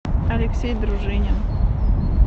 алексей дружинин